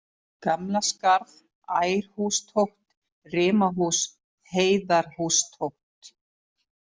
Gamla-Skarð, Ærhústótt, Rimahús, Heiðarhústótt